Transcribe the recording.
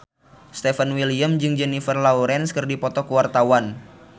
Stefan William jeung Jennifer Lawrence keur dipoto ku wartawan